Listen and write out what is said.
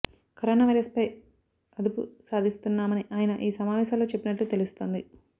corona virus పై అదుపు సాధిస్తున్నామని ఆయన ఈ సమావేశాల్లో చెప్పినట్లు తెలుస్తోంది